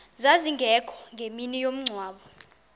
zazingekho ngemini yomngcwabo